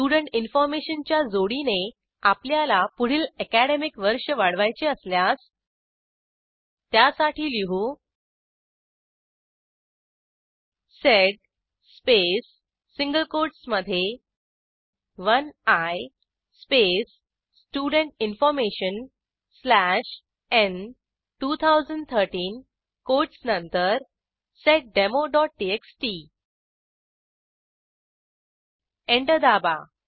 student information च्या जोडीने आपल्याला पुढील अॅकॅडेमिक वर्ष वाढवायचे असल्यास त्यासाठी लिहू सेड स्पेस सिंगल कोटसमधे 1आय स्पेस स्टुडेंट इन्फॉर्मेशन स्लॅश न् 2013 कोटस नंतर seddemoटीएक्सटी एंटर दाबा